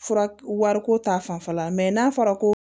Fura wariko ta fanfɛla mɛ n'a fɔra ko